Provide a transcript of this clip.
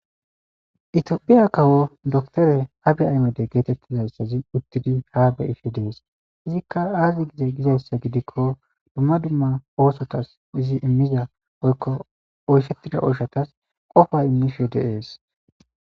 Itopia kawo dokter abiy ahimede getetizaysazi utidi ha be'ishe des izika aze gize gizaysa gidiko duma duma osotas izi imiza woyko oyshetida oyshatas qofa imishe de'es.